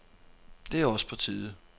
Det er også på tide.